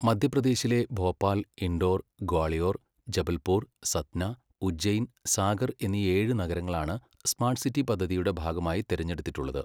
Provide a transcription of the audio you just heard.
മധ്യപ്രദേശിലെ ഭോപ്പാൽ, ഇൻഡോർ, ഗ്വാളിയോർ, ജബൽപൂർ, സത്ന, ഉജ്ജൈൻ, സാഗർ എന്നീ ഏഴ് നഗരങ്ങളാണ് സ്മാർട്ട് സിറ്റി പദ്ധതിയുടെ ഭാഗമായി തിരഞ്ഞെടുത്തിട്ടുള്ളത്.